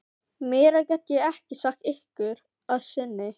Meira get ég ekki sagt ykkur að sinni.